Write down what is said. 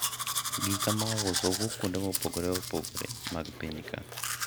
gika mauso wuok ga kuonde mopogore opogore mag piny ka